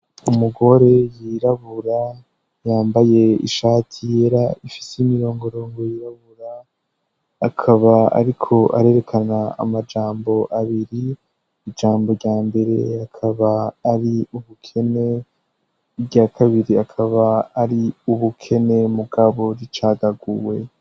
Umugore yirabura yambaye ishati yera ifise imirongorongo yirabura akaba, ariko arerekana amajambo abiri ijambo rya mbere akaba ari ubukene rya kabiri akaba ari ubukene mugabo ricawe takuwe.